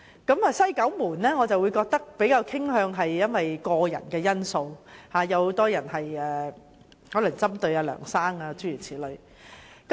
至於"西九門事件"的調查，則比較傾向個人的因素，有很多人可能是針對梁先生。